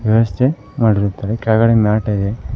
ವ್ಯವಸ್ಥೆ ಮಾಡಿರುತ್ತಾರೆ ಕೆಳಗಡೆ ಮ್ಯಾಟ್ ಇದೆ.